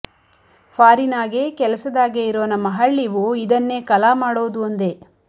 ಫಾರಿನಾಗೆ ಕೆಲಸದಾಗೆ ಇರೋ ನಮ್ಮ ಹಳ್ಳೀವು ಇದನ್ನೇ ಕಲಾ ಮಾಡೋದು ಅಂದೆ